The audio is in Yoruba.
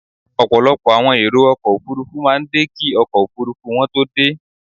Ọ̀pọ̀lọpọ̀ àwọn èrò ọkọ̀ Òfurufú máa ń dé kí ọkọ̀ Òfurufú wọn tó dé.